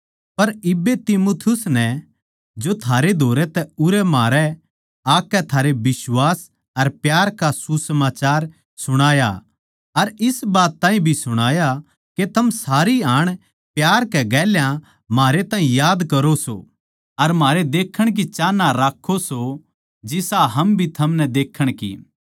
पर इब्बे तीमुथियुस नै जो थारै धोरै तै म्हारै उरै आकै थारै बिश्वास अर प्यार का सुसमाचार सुणाया अर इस बात ताहीं भी सुणाया के थम सारी हाण प्यार कै गेल्या म्हारै ताहीं याद करो सो अर म्हारै देखण की चाहना राक्खो सो जिसा हम भी थमनै देखण की